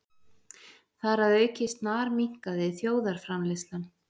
Þar að auki snarminnkaði þjóðarframleiðslan